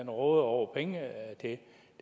råder over penge det